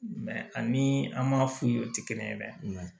ani an m'a f'u ye o ti kelen ye dɛ